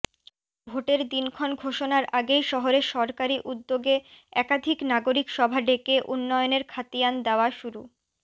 ভোটের দিনক্ষণ ঘোষণার আগেই শহরে সরকারি উদ্যোগে একাধিক নাগরিক সভা ডেকে উন্নয়নের খতিয়ান দেওয়া শুরু